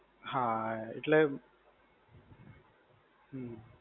હા એટલે. હમ્મ.